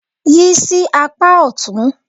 Yí sí apá ọ̀tún.